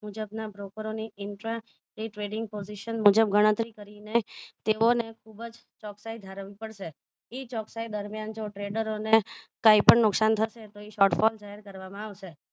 મુજબના broker ઓની intra a trading position મુજબની ગણતરી કરીને તેઓને ખૂબજ ચોકસાઈ ધરાવી પડશે એ ચોકસાઈ દરમિયાન જો tradro ને કંઈપણ નુકસાન થશે તો એ short call જાહેર કરવામાં આવશે